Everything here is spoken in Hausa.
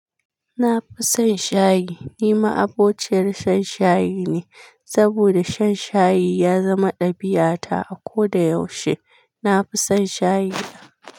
Na fi son shayi. Ni ma'abociyar shan shayi ne saboda shan shayi ya zama ɗabi'ata a koda yaushe. Na fi son shayi.